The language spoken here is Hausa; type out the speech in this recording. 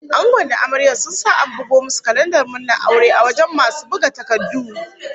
Angon da amaryar sa sun sa an bugo musu kalandar murnar aure a wajen masu buga takardu